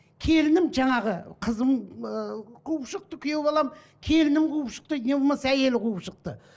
келінім жаңағы қызым ыыы қуып шықты күйеу балам келінім қуып шықты не болмаса әйелі қуып шықты